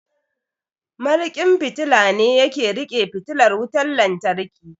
Mariƙin fitila ne yake riƙe fitilar wutan lantarki